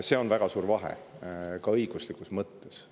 Siin on väga suur vahe, ka õiguslikus mõttes.